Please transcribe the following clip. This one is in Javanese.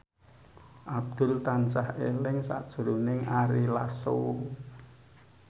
Abdul tansah eling sakjroning Ari Lasso